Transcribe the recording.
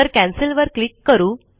तर कॅन्सेल वर क्लिक करू